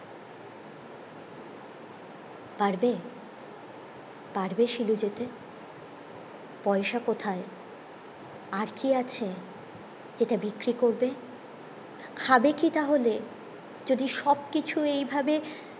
পারবে পারবে শিলু যেতে পয়সা কোথায় আর কি আছে যেটা বিক্রি করবে খাবে কি তাহলে যদি সব কিছুই এই ভাবে